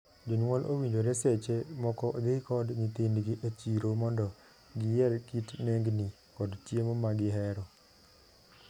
Jonyuol owinjore seche moko dhii kod nyithindgi e chiro mondo giyier kit nengni, kod chiemo ma gihero.